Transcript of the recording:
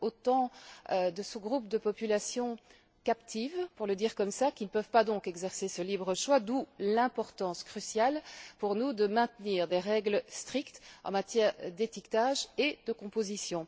Soit autant de sous groupes de populations captives, pour le dire comme cela, qui ne peuvent pas donc exercer ce libre choix, d'où l'importance cruciale, pour nous, de maintenir des règles strictes en matière d'étiquetage et de composition.